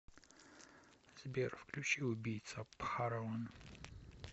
сбер включи убийца пхараон